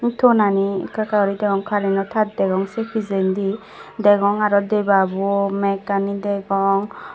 tonani ekka ekka guri degong kareno taar degong sei pissendi degong aro debabo mekkani degong.